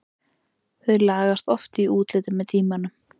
Þau lagast oft í útliti með tímanum.